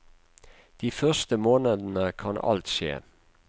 De første månedene kan alt skje.